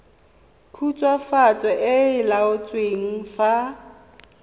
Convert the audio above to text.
khutswafatso e e laotsweng fa